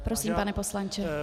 Prosím, pane poslanče.